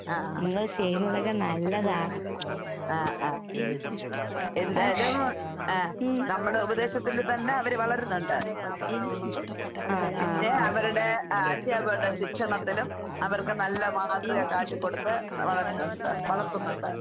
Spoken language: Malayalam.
ആഹ്. ആഹ് ആഹ്. എന്തായാലും ആഹ് നമ്മടെ ഉപദേശത്തില് തന്നെ അവര് വളരുന്നൊണ്ട്. പിന്നെ അവരടെ ആഹ് അധ്യാപകരുടെ ശിക്ഷണത്തിലും അവർക്ക് നല്ല മാതൃക കാട്ടിക്കൊടുത്ത് വളരുന്നൊണ്ട് വളർത്തുന്നൊണ്ട്.